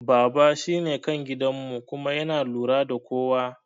Baba shine kan gidan mu kuma yana lura da kowa